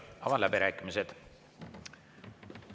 Avan läbirääkimised.